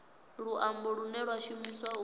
luambo lune lwa shumiswa u